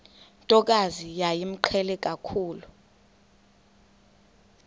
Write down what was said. ntokazi yayimqhele kakhulu